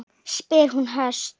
spyr hún höst.